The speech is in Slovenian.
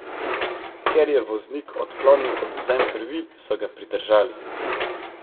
Ker je voznik odklonil odvzem krvi, so ga pridržali.